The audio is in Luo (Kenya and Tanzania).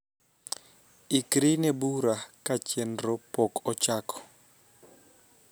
ikri ne bura ka chenro pok ochako